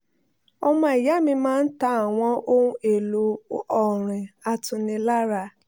ọmọ ìya mi máa ń ta àwọn ohun èlò ọrin atunilára